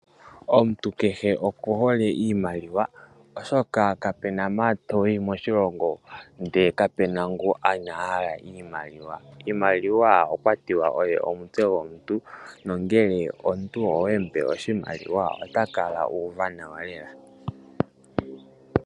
Omuntu kehe okuhole iimaliwa oshoka kapena mpa toyi moshilongo ndele kapena ngu inahala iimaliwa. Iimaliwa okwa tiwa oyo omutse gomuntu na ngele omuntu owemupe oshimaliwa ota kala uuva nawa lela.